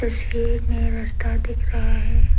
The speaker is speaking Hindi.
पीछे में रस्ता दिख रहा है।